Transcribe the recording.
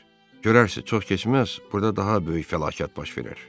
Görərsiz, çox keçməz, burada daha böyük fəlakət baş verər.